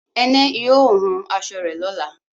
Ẹnẹ yóò hún aṣọ rẹ̀ lọ́lá